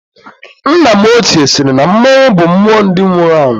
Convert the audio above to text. Nna m ochie sịrị na mmọnwụ bụ mmụọ ndị nwụrụ anwụ